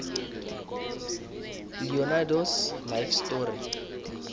leonardos life story